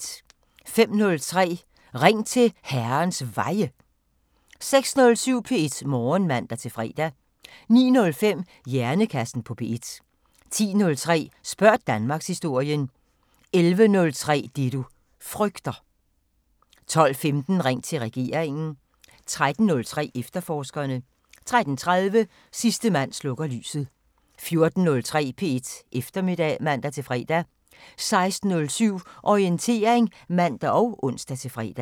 05:03: Ring til Herrens Veje 06:07: P1 Morgen (man-fre) 09:05: Hjernekassen på P1 10:03: Spørg Danmarkshistorien 11:03: Det du frygter 12:15: Ring til regeringen 13:03: Efterforskerne 13:30: Sidste mand slukker lyset 14:03: P1 Eftermiddag (man-fre) 16:07: Orientering (man og ons-fre)